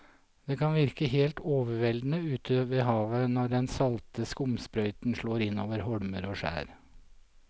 Det kan virke helt overveldende ute ved havet når den salte skumsprøyten slår innover holmer og skjær.